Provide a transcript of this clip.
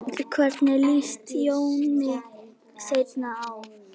Hvernig líst Jóni Steini á?